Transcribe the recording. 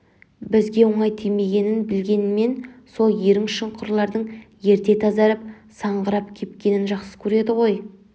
бізге оңай тимегенін білгенімен сол ерің шұңқырлардың ерте тазарып саңғырап кепкенін жақсы көреді ғой